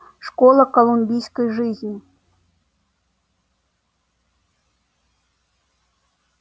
школа колумбийской жизни